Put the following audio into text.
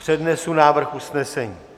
Přednesu návrh usnesení.